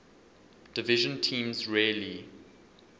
division teams rarely